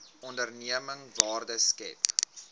onderneming waarde skep